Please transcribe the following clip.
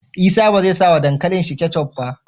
Isa bezai sa wa dankalin shi ketchup ba